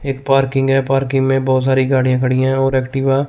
एक पार्किंग है पार्किंग में बहुत सारी गाड़ियां खड़ी हैं और एक्टिवा --